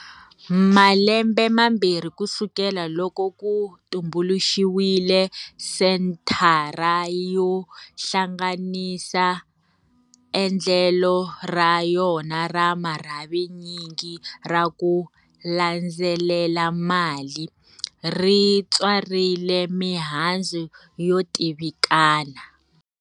Malembe mambirhi kusukela loko ku tumbuluxiwile Senthara yo Hlanganisa, endlelo ra yona ra marhavinyingi ra ku 'landzelela mali' ri tswarile mihandzu yo tivikana.